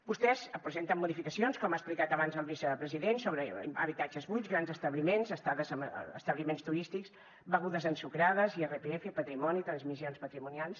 vostès presenten modificacions com ha explicat abans el vicepresident sobre habitatges buits grans establiments estades en establiments turístics begudes ensucrades irpf patrimoni transmissions patrimonials